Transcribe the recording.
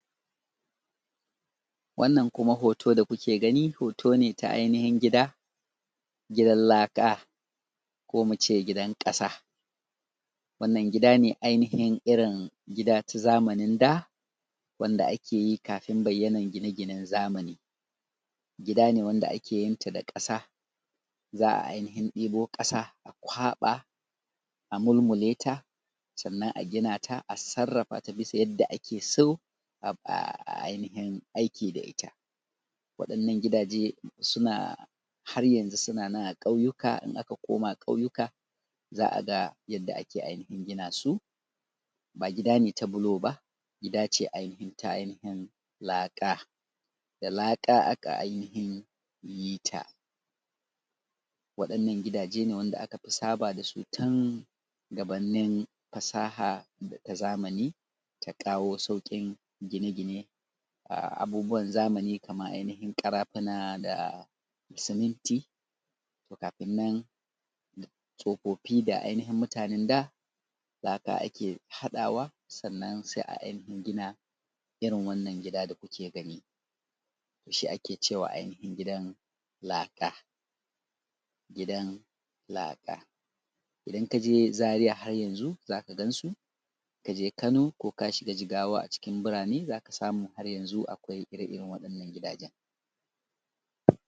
wannan kuma hoto da kuke gani hoto ne na ainihin gida gidan laka ko mu ce gidan ƙasa wannan gida ne ainihi irin gida ta zamanin da wanda ake yi kafin bayyana gine ginen zamani gida ne wanda ake yin ta da ƙasa za ai ainihin ɗibo ƙasa a kwaɓa a mulmule ta sannan a gina ta a sarrafa ta bisa yanda ake so ai ainihin aiki da ita waɗannan gidaje suna har yanzu suna nan a ƙwauyuka in aka koma ƙwauyuka za a ga yadda ake ainihin gina su ba gida ne ta bulo ba gida ce ta ainihin ainihin laka da laka ake ainihin yi ta waɗannan gidaje wanda aka fi saba da su tun gabanin fasaha da ta zamani ta kawo sauƙin gine gine ga abubuwa zamani kamar ainihin ƙarafuna da suminti kafin nan tsofaffi da ainihin mutanan da laka ne ake haɗawa sannan sai ai ainihin gina irin wannan gida da ku ke gani shi ake ce ma ainihin gidan laka gidan laka idaƙn ka je zariya har yanzu za ka gan su in ka je kano ko ka shiga jigawa a cikin biranai za ka samu har yanzu akwai ire iren gidajen